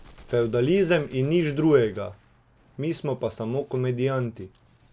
Fevdalizem in nič drugega, mi smo pa samo komedijanti.